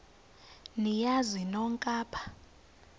niyazi nonk apha